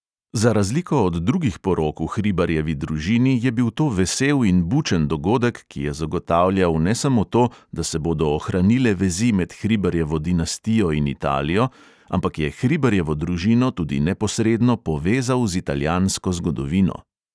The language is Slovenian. Za razliko od drugih porok v hribarjevi družini je bil to vesel in bučen dogodek, ki je zagotavljal ne samo to, da se bodo ohranile vezi med hribarjevo dinastijo in italijo, ampak je hribarjevo družino tudi neposredno povezal z italijansko zgodovino.